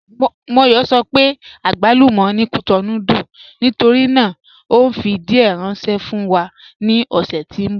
Móyọ̀ sọ pé àgbálúmọ̀ ni Cotonou dùn nítorí náà o nfi díẹ̀ ránṣẹ̀ fún wa ni ọ̀ṣẹ̀ tí n bọ.